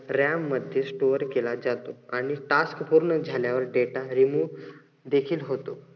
ram मध्ये store केला जातो आणि टास्क पूर्ण झाल्यावर data remove देखील होतो.